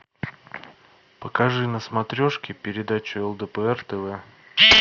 покажи на смотрешке передачу лдпр тв